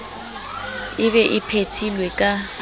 e be e phethilwe ka